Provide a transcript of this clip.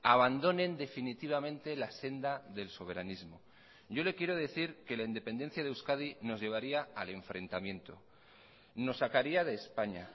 abandonen definitivamente la senda del soberanismo yo le quiero decir que la independencia de euskadi nos llevaría al enfrentamiento nos sacaría de españa